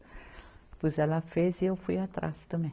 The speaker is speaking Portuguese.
Depois ela fez e eu fui atrás também.